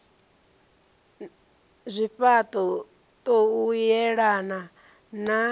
zwifha ṱo u yelana na